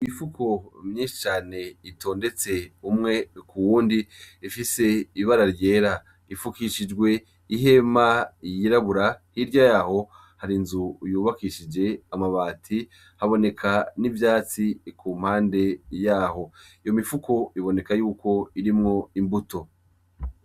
Imifuko myinshi cane itondetse umwe k'uwundi ifise ibara ryera ifukishijwe ihema yirabura, hirya yaho hari inzu yubakishije amabati, haboneka n'ivyatsi ku mpande yaho, iyo mifuko iboneka yuko irimwo imbuto.